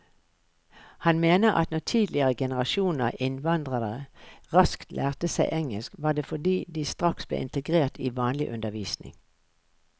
Han mener at når tidligere generasjoner innvandrere raskt lærte seg engelsk, var det fordi de straks ble integrert i vanlig undervisning.